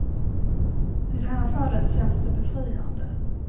I det här fallet känns det befriande.